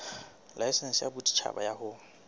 laesense ya boditjhaba ya ho